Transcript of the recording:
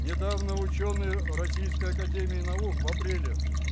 недавно учёные ээ российской академии наук в апреле